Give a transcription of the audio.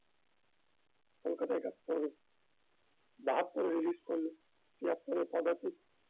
কলকাতায় একাত্তরে বাহাত্তরে release করলো তিয়াত্তরে পদাতিক